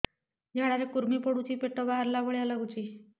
ଝାଡା ରେ କୁର୍ମି ପଡୁଛି ପେଟ ବାହାରିଲା ଭଳିଆ ଲାଗୁଚି